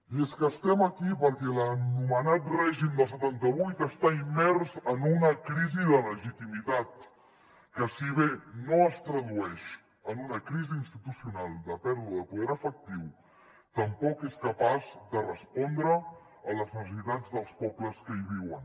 i és que estem aquí perquè l’anomenat règim del setanta vuit està immers en una crisi de legitimitat que si bé no es tradueix en una crisi institucional de pèrdua de poder efectiu tampoc és capaç de respondre a les necessitats dels pobles que hi viuen